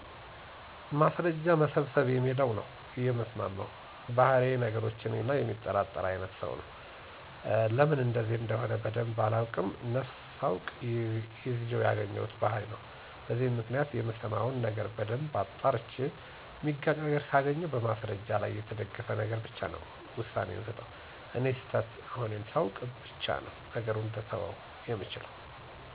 ማስርረጃ መሰብሰብ በሚለው ነው የምስማማው። ባህሪየ ነገሮችን የሚመረምር እና የሚጠራጠር አይነት ሰው ነኝ። ለምን እንደዚ እንደሆነ በደንብ ባላቀውም ነፍስ ሳውቅ ይዜው ያገኘሁት ባህሪ ነው። በዚህም ምክንያት የምሠማውን ነገር በደንብ አጣርቼ ሚጋጭ ነገር ካገኘሁ በማስረጃ ላይ በተደገፈ ነገር ብቻ ነወ ውሳኔ የምሰጠው። እኔ ስተት መሆኔን ሳውቅ በቻ ነው ነገሩን ልተወው የምችለው።